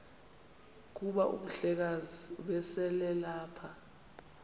kuba umhlekazi ubeselelapha